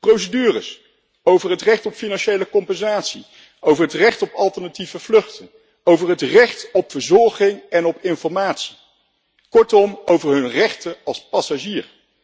Procedures over het recht op financiële compensatie, over het recht op alternatieve vluchten, over het recht op verzorging en op informatie, kortom over hun rechten als passagier.